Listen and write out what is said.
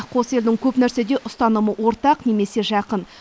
қос елдің көп нәрседе ұстанымы ортақ немесе жақын